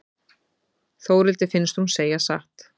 Þórhildi finnst hún segja satt.